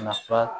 Nafa